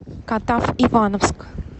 катав ивановск